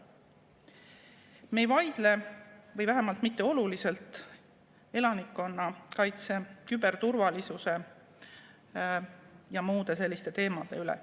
Me ei vaidle, või vähemalt mitte olulisel määral, elanikkonnakaitse, küberturvalisuse ja muude selliste teemade üle.